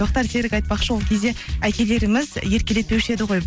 тоқтар серік айтпақшы ол кезде әкелеріміз еркелетпеуші еді ғой